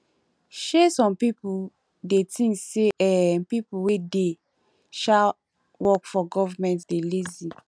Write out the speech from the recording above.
um some pipo dey think sey um pipo wey dey um work for government dey lazy